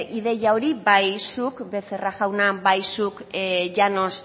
ideia hori bai zuk becerra jauna bai zuk llanos